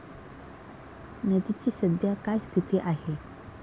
नदीची सध्या काय स्थिती आहे?